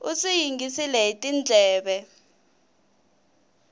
u swi yingisile hi tindleve